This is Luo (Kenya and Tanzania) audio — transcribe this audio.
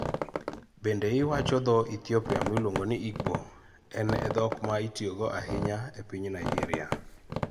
Bende iwacho dho Ethiopia miluongo ni Igbo: en e dhok ma itiyogo ahinya e piny Nigeria.